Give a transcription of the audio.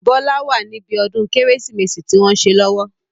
Bọlá wá ní bí ọdún Kérésìmesì tí wọn ń ṣe lọ́wọ́.